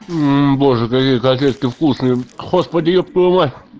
боже какие котлетки вкусные господи еб твою мать